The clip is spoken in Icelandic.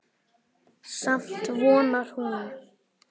Samt vonar hún.